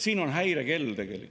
See on tegelikult häirekell.